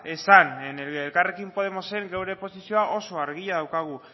esan elkarrekin podemosen gure posizioa oso argia daukagu